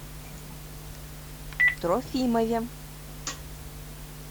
трофимове